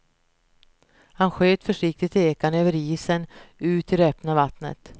Han sköt försiktigt ekan över isen ut till det öppna vattnet.